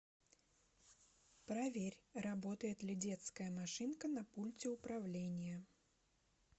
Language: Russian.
проверь работает ли детская машинка на пульте управления